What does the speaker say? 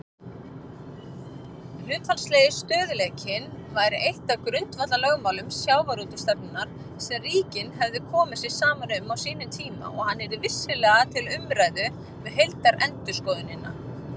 Hlutfallslegi stöðugleikinn væri eitt af grundvallarlögmálum sjávarútvegsstefnunnar sem ríkin hefðu komið sér saman um á sínum tíma og hann yrði vissulega til umræðu við heildarendurskoðunina.